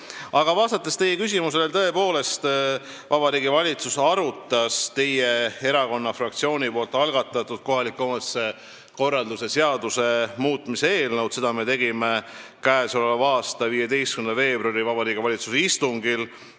Aga vastates teie küsimusele, tõepoolest, Vabariigi Valitsus arutas teie erakonna fraktsiooni algatatud kohaliku omavalitsuse korralduse seaduse muutmise seaduse eelnõu oma k.a 15. veebruari istungil.